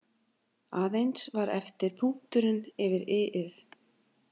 Aðeins var eftir punkturinn yfir i- ið.